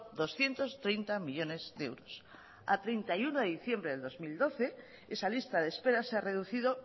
doscientos treinta millónes de euros a treinta y uno de diciembre del dos mil doce esa lista de espera se ha reducido